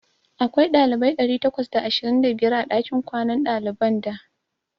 Akwai ɗalibai ɗari takwas da ashirin da biyar a ɗakin kwanan ɗaliban da.